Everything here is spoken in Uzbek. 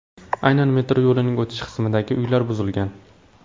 Aynan metro yo‘lining o‘tish qismidagi uylar buzilgan.